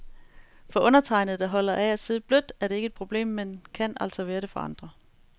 For undertegnede, der holder af at sidde blødt, er det ikke et problem, men kan altså være det for andre.